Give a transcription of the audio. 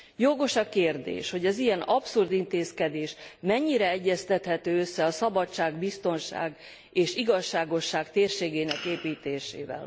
Jogos a kérdés, hogy az ilyen abszurd intézkedés mennyire egyeztethető össze a szabadság, biztonság és igazságosság térségének építésével.